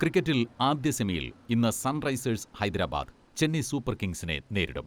ക്രിക്കറ്റിൽ ആദ്യ സെമിയിൽ ഇന്ന് സൺറൈസേഴ്സ് ഹൈദരാബാദ് ചെന്നൈ സൂപ്പർ കിംഗ്സിനെ നേരിടും.